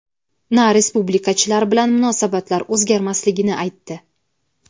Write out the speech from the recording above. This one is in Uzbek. na respublikachilar bilan munosabatlar o‘zgarmasligini aytdi.